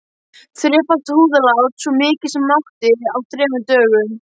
Þrefalt húðlát, svo mikið sem mátti, á þremur dögum.